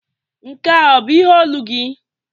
Nke a ọ bụ ihe olu gị?